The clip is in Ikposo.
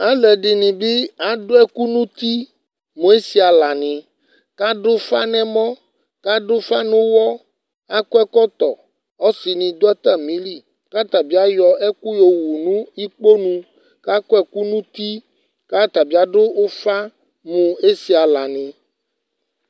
alò ɛdini bi adu ɛkò no uti mo esi ala ni k'adu ufa n'ɛmɔ k'adu ufa n'uwɔ k'adu ɛkɔtɔ ɔsi ni do atami li k'atabi ayɔ ɛkò yo wu no ikponu k'akɔ ɛkò n'uti k'atabi adu ufa mo esi ala ni